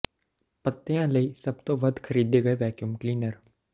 ਪੱਤਿਆਂ ਲਈ ਸਭ ਤੋਂ ਵੱਧ ਖਰੀਦੇ ਗਏ ਵੈਕਿਊਮ ਕਲੀਨਰ